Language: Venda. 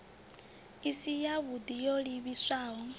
i si yavhui yo livhiswaho